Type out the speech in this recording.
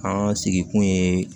An sigikun ye